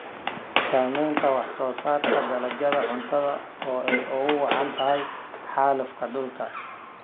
Saamaynta wax-soo-saarka dalagyada cuntada oo ay ugu wacan tahay xaalufka dhulka.